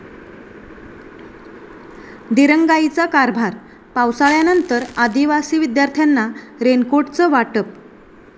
दिरंगाईचा कारभार! पावसाळ्यानंतर आदिवासी विद्यार्थ्यांना रेनकोटचं वाटप